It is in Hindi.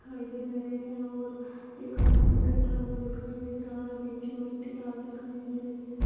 दिखाई दे रहा है और एक आदमी बैठा हुआ दिखाई दे रहा है नीचे मिट्टी लाल दिखाई दे रही है।